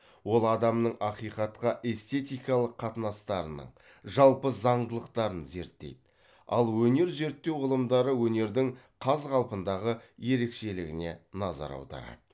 ол адамның ақиқатқа эстетикалық қатынастарының жалпы заңдылықтарын зерттейді ал өнер зерттеу ғылымдары өнердің қаз қалпындағы ерекшелігіне назар аударады